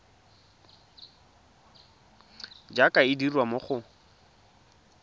jaaka e dirwa mo go